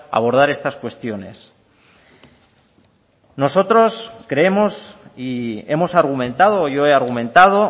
abordar estas cuestiones nosotros creemos y hemos argumentado yo he argumentado